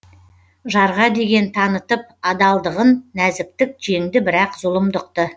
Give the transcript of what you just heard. жарға деген танытып адалдығын нәзіктік жеңді бірақ зұлымдықты